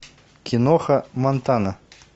киноха монтана